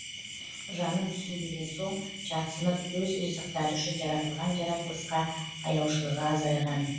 жанын түсінбеген соң жатсынып өз ризықтары үшін жаратылған жаратылысқа аяушылығы азайған